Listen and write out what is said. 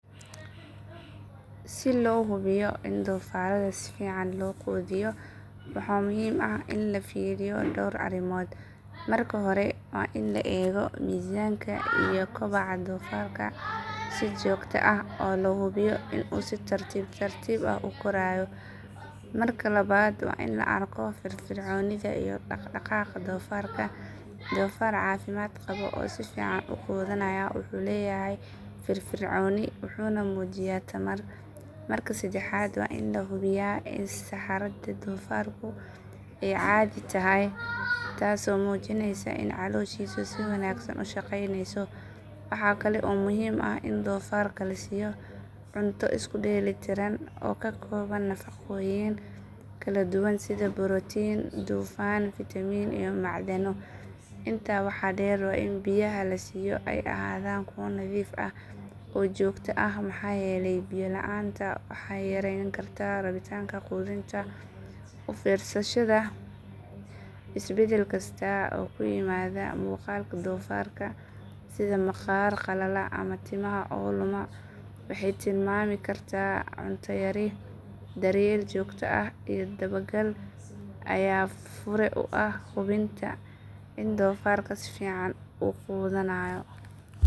Si loo hubiyo in doofaarrada si fiican loo quudiyo waxaa muhiim ah in la fiiriyo dhowr arrimood. Marka hore waa in la eego miisaanka iyo koboca doofaarka si joogto ah oo loo hubiyo in uu si tartiib tartiib ah u korayo. Marka labaad waa in la arko firfircoonida iyo dhaqdhaqaaqa doofaarka, doofaar caafimaad qaba oo si fiican u quudanaya wuxuu leeyahay firfircooni wuxuuna muujiyaa tamar. Marka saddexaad waa in la hubiyaa in saxarada doofaarku ay caadi tahay taasoo muujinaysa in calooshiisu si wanaagsan u shaqaynayso. Waxaa kale oo muhiim ah in doofaarka la siiyo cunto isku dheelitiran oo ka kooban nafaqooyin kala duwan sida borotiin, dufan, fiitamiin iyo macdano. Intaa waxaa dheer waa in biyaha la siiyo ay ahaadaan kuwo nadiif ah oo joogto ah maxaa yeelay biyo la'aanta waxay yareyn kartaa rabitaanka quudinta. U fiirsashada isbedel kasta oo ku yimaada muuqaalka doofaarka sida maqaar qalala ama timaha oo luma waxay tilmaami kartaa cunto yari. Daryeel joogto ah iyo dabagal ayaa fure u ah hubinta in doofaarka si fiican u quudanayo.